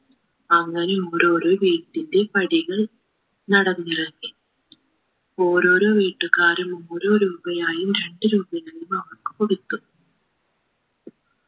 അങ്ങനെ ഓരോരോ വീട്ടിന്റെ പടികൾ നടന്നിറങ്ങി ഓരോരോ വീട്ടുകാർ ഓരോ രൂപയായും രണ്ട് രൂപയായും അവർക്ക് കൊടുത്തു